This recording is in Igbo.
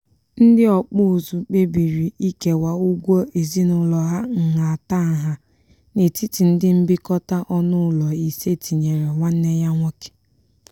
ndị ọkpụ ụzụ kpebiri ikewa ụgwọ ezinụlọ ha nhatanha n'etiti ndị mbikọta ọnụụlọ ise tinyere nwanne ya nwoke.